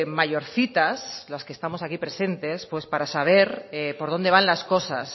mayorcitas las que estamos aquí presentes pues para saber por dónde van las cosas